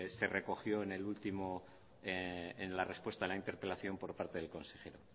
se recogió en la respuesta de la interpelación por parte del consejero